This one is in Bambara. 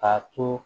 A to